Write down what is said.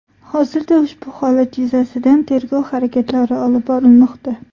Hozirda ushbu holat yuzasidan tergov harakatlari olib borilmoqda.